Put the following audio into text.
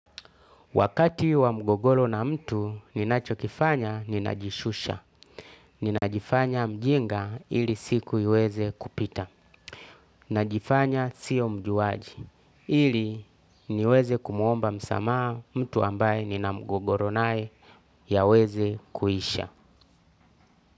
Wakati wa mgogolo na mtu, ninachokifanya ninajishusha. Ninajifanya mjinga ili siku iweze kupita. Ninajifanya sio mjuaji. Ili niweze kumuomba msamaha mtu ambaye nina mgogoro naye yaweze kuisha.